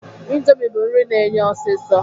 Ịndomi bụ nri na-eye ọsisọ